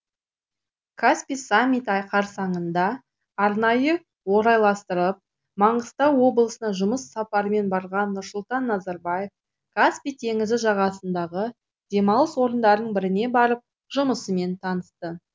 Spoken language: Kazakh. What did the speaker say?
каспий саммиті айқарсаңында арнайы орайластырып маңғыстау облысына жұмыс сапарымен барған нұрсұлтан назарбаев каспий теңізі жағасындағы демалыс орындарының біріне барып жұмысымен танысты